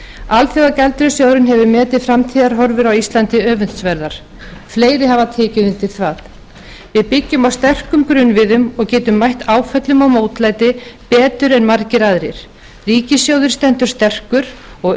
alþjóðagjaldeyrissjóðurinn hefur metið framtíðarhorfur á íslandi öfundsverðar fleiri hafa tekið undir það við byggjum á sterkum grunnviðum og getum mætt áföllum og mótlæti betur en margir aðrir ríkissjóður stendur sterkur og öfugt